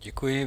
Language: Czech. Děkuji.